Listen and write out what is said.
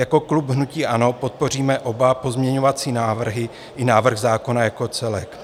Jako klub hnutí ANO podpoříme oba pozměňovací návrhy i návrh zákona jako celek.